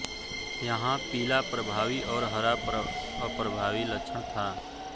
यहां पीला प्रभावी और हरा अप्रभावी लक्षण था